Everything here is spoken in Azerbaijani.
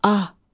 Ah!